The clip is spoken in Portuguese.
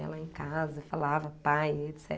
Ia lá em casa e falava pa e et